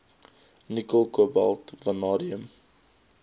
nikkel kobalt vanadium